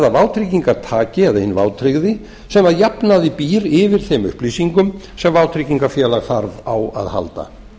það vátryggingartaki eða hinn vátryggði sem að jafnaði býr yfir þeim upplýsingum sem vátryggingafélag þarf á að halda